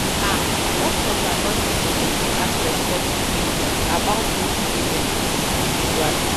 ah doctors and nurses suppose dey ask respectful questions about wetin patient need spiritually.